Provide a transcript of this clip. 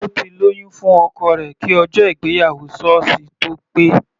Ó ti lóyún fún ọkọ rẹ̀ kí ọjọ́ ìgbéyàwó sọ́ọ̀sì tó pé.